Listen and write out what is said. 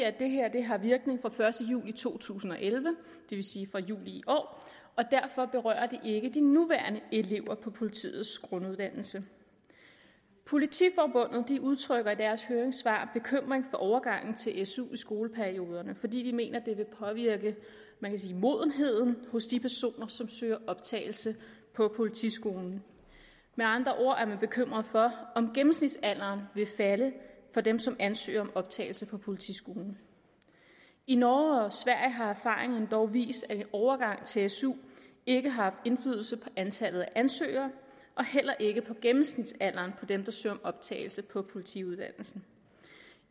at det her har virkning fra den første juli to tusind og elleve det vil sige fra juli i år og derfor berører det ikke de nuværende elever på politiets grunduddannelse politiforbundet udtrykker i deres høringssvar bekymring for overgangen til su i skoleperioderne fordi de mener det vil påvirke man kan sige modenheden hos de personer som søger optagelse på politiskolen med andre ord er man bekymret for om gennemsnitsalderen vil falde for dem som ansøger om optagelse på politiskolen i norge og sverige har erfaringerne dog vist at en overgang til su ikke har haft indflydelse på antallet af ansøgere heller ikke på gennemsnitsalderen på dem der søger optagelse på politiuddannelsen